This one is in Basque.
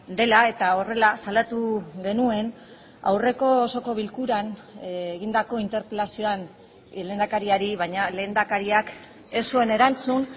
dela eta horrela salatu genuen aurreko osoko bilkuran egindako interpelazioan lehendakariari baina lehendakariak ez zuen erantzun